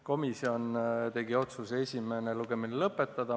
Komisjon tegi otsuse esimene lugemine lõpetada.